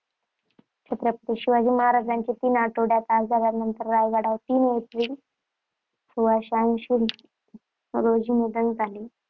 छत्रपती शिवाजी महाराजांचे तीन आठवड्यांच्या आजारानंतर रायगडावर तीन एप्रिल सोळाशेऐंशी रोजी निधन झाले.